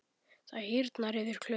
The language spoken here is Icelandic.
Það hýrnar yfir Klöru.